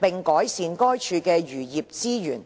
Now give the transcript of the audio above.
並改善該處的漁業資源。